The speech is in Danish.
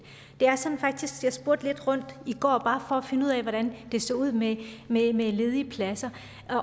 jeg spurgte lidt rundt i går bare for at finde ud af hvordan det så ud med ledige ledige pladser